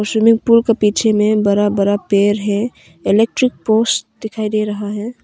Swimming pool के पीछे में बड़ा बड़ा पेड़ है इलेक्ट्रिक पोस्ट दिखाई दे रहा है।